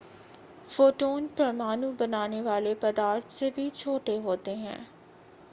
photon परमाणु बनाने वाले पदार्थ से भी छोटे होते हैं